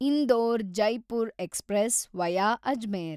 Indore Jaipur express via Ajmer